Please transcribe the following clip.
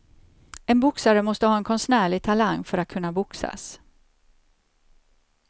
En boxare måste ha en konstnärlig talang för att kunna boxas.